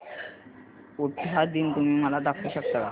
उटाहा दिन तुम्ही मला दाखवू शकता का